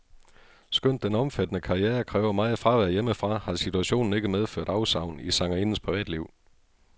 Skønt den omfattende karriere kræver meget fravær hjemmefra, har situationen ikke medført afsavn i sangerindens privatliv.